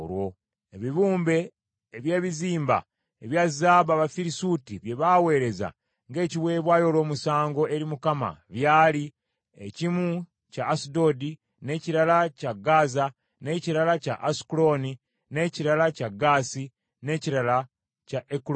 Ebibumbe eby’ebizimba ebya zaabu Abafirisuuti bye baaweereza ng’ekiweebwayo olw’omusango eri Mukama byali: ekimu kya Asudodi, n’ekirala kya Gaza, n’ekirala kya Asukulooni, n’ekirala kya Gaasi, n’ekirala kya Ekuloni;